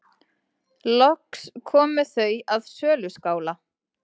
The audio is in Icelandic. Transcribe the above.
Loks komu þau að söluskála.